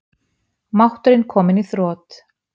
Máttur kominn í þrot